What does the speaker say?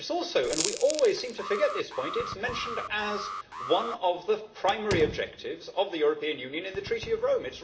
It is also and we always seem to forget this point mentioned as one of the primary objectives of the European Union in the Treaty of Rome.